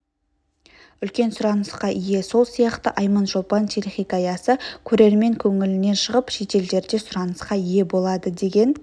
үлкен сұранысқа ие сол сияқты айманшолпан телехикаясы көрермен көңілінен шығып шетелдерде сұранысқа ие болады деген